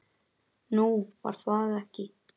Nú, var það ekki?